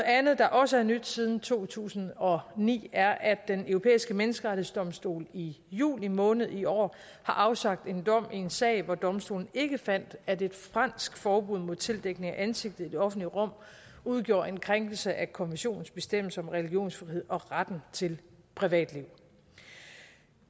andet der også er nyt siden to tusind og ni er at den europæiske menneskerettighedsdomstol i juli måned i år har afsagt en dom i en sag hvor domstolen ikke fandt at et fransk forbud mod tildækning af ansigtet i det offentlige rum udgjorde en krænkelse af konventionens bestemmelser om religionsfrihed og retten til privatliv